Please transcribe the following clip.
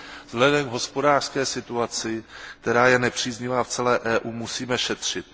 Vzhledem k hospodářské situaci, která je nepříznivá v celé EU, musíme šetřit.